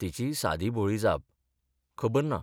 तिचीय सादी भोळी जापः खबर ना.